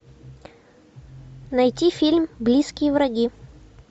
найти фильм близкие враги